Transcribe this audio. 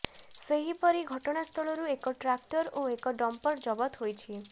ସେହିପରି ଘଟଣାସ୍ଥଳରୁ ଏକ ଟ୍ରାକ୍ଟର ଓ ଏକ ଡମ୍ପର ଜବତ ହୋଇଛି